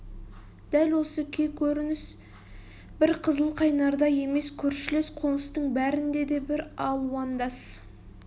дәл осы күй-көрініс бір қызылқайнарда емес көршілес қоныстың бәрінде де бір алуандас